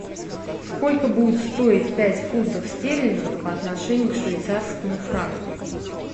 сколько будет стоить пять фунтов стерлингов по отношению к швейцарскому франку